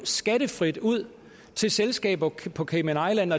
skattefrit ud til selskaber på cayman